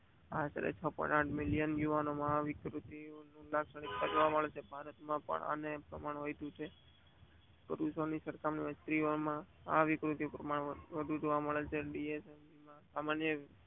આશરે આઠ મિલિયન યુવકોમાં આ વિકૃતિના લક્ષણો જોવા મળે છે. ભારત માં પણ આનું પ્રમાણ વધીયુ છે. પુરુષો ની સરખામણી માં સ્ત્રી ઓ આ યુક્તિ પ્રમાણે વધુ જોવા મળે છે.